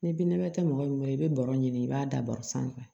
Ni binnɛbɛ tɛ mɔgɔ mɔgɔ i bɛ baro ɲini i b'a da bɔrɛ sanfɛ